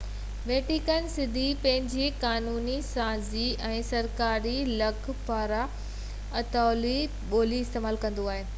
Vatican City پنهنجي قانونسازي ۽ سرڪاري لک پڙهه ۾ اطالوي ٻولي استعمال ڪندو آهي